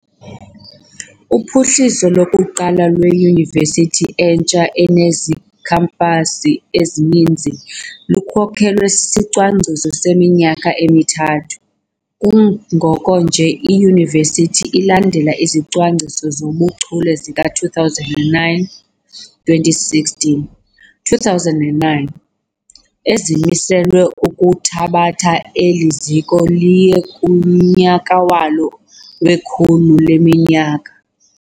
Uphuhliso lokuqala lweyunivesithi entsha enezikhampasi ezininzi lukhokelwa sisicwangciso seminyaka emithathu, kungokunje iyunivesiti ilandela iziCwangciso zoBuchule zika2009 -2016 2009, ezimiselwe ukuthabatha eli ziko liye kunyaka walo wekhulu leminyaka.